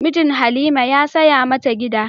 Mijin Halima ya saya mata gida.